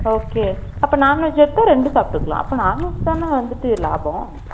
Okay . அப்ப, non - veg எடுத்தா, ரெண்டு சாப்பிட்டுக்கலாம். அப்ப, non - veg தானே வந்துட்டு, லாபம்?